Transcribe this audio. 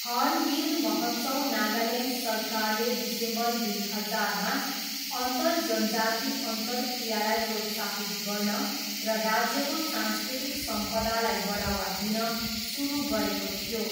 Hornbill महोत्सव नागाल्यान्ड सरकारले December दुई हजारमा अन्तरजनजाति अन्तर्क्रियालाई प्रोत्साहित गर्न र राज्यको सांस्कृतिक सम्पदालाई बढावा दिन सुरु गरेको थियो।